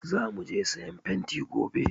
Za mu je siyan fenti gobe.